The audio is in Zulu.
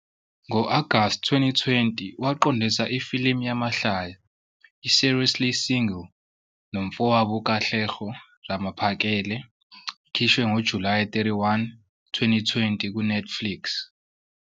Ngo-Agasti 2020, waqondisa ifilimu yamahlaya "iSeriously Single" nomfowabo uKatleho Ramaphakela. Ikhishwe ngoJulayi 31, 2020 kuNetflix.